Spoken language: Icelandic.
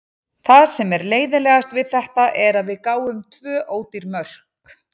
Það sem er leiðinlegast við þetta er að við gáfum tvö ódýr mörk.